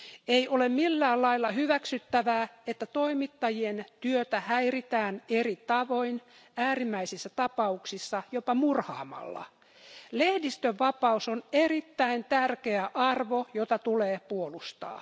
Ei ole millään lailla hyväksyttävää, että toimittajien työtä häiritään eri tavoin, äärimmäisissä tapauksissa jopa murhaamalla. Lehdistön vapaus on erittäin tärkeä arvo, jota tulee puolustaa.